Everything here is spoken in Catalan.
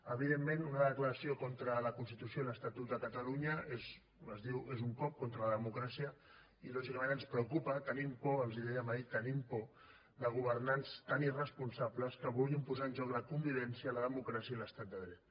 evidentment una declaració contra la constitució i l’estatut de catalunya és com es diu un cop contra la democràcia i lògicament ens preocupa tenim por els ho dèiem ahir tenim por de governants tan irresponsables que vulguin posar en joc la convivència la democràcia i l’estat de dret